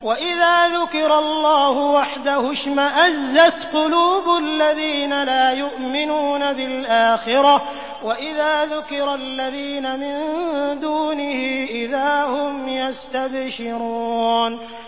وَإِذَا ذُكِرَ اللَّهُ وَحْدَهُ اشْمَأَزَّتْ قُلُوبُ الَّذِينَ لَا يُؤْمِنُونَ بِالْآخِرَةِ ۖ وَإِذَا ذُكِرَ الَّذِينَ مِن دُونِهِ إِذَا هُمْ يَسْتَبْشِرُونَ